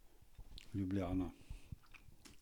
Ljubljana.